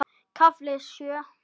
KAFLI SJÖ